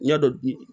Ɲɛ dɔ bi